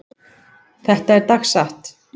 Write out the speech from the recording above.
Þetta er dagsatt.